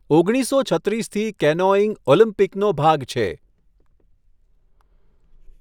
ઓગણીસસો છત્રીસથી કેનોઇંગ ઓલિમ્પિકનો ભાગ છે.